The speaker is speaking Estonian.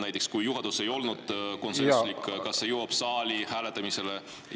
Näiteks, kui juhatuses ei olnud konsensust, kas see jõuab saali hääletamisele?